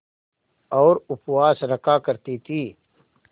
और उपवास रखा करती थीं